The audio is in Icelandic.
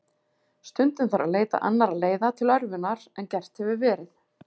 Stundum þarf að leita annarra leiða til örvunar en gert hefur verið.